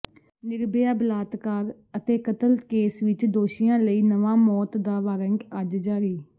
ਨਿਰਭਯਾ ਬਲਾਤਕਾਰ ਅਤੇ ਕਤਲ ਕੇਸ ਵਿੱਚ ਦੋਸ਼ੀਆਂ ਲਈ ਨਵਾਂ ਮੌਤ ਦਾ ਵਾਰੰਟ ਅਜ ਜਾਰੀ